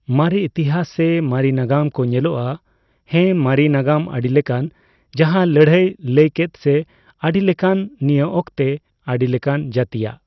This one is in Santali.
ᱢᱟᱨᱤ, ᱤᱛᱤᱦᱟᱸᱥ ᱥᱮ ᱢᱟᱨᱤ ᱱᱟᱜᱟᱢ ᱠᱚ ᱧᱟᱢᱚᱜᱼᱟ᱾ ᱦᱮᱸ ᱢᱟᱨᱤ ᱱᱟᱜᱟᱢ ᱟᱰᱤᱞᱮᱠᱟᱱ ᱡᱟᱦᱟᱸ ᱞᱟᱹᱲᱦᱟᱹᱭ ᱞᱟᱹᱭ ᱠᱮᱫ ᱥᱮ ᱟᱰᱤᱞᱮᱠᱟᱱ ᱱᱤᱭᱟᱹ ᱚᱠᱛᱮ, ᱟᱰᱤᱞᱮᱠᱟᱱ ᱡᱟᱛᱤᱭᱟᱜ